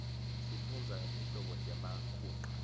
sifundza ngetinhlobo temakhunqa